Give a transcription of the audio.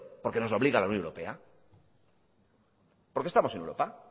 porque nos obliga la unión europea porque estamos en europa